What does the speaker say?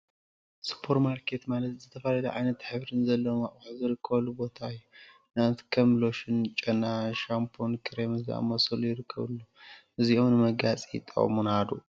ሱፐርማርኬት ሱፐር ማርኬት ማለት ዝተፈላለዩ ዓይነትን ሕብሪን ዘለዎም አቁሑት ዝርከበሉ ቦታ እዩ፡፡ ንአብነት ከም ሎሽን፣ ጨና፣ ሻምፖን ክሬምን ዝመሳሰሉ ይርከቡዎም፡፡ እዚኦም ንመጋየፂ ይጠቅሙና ዶ?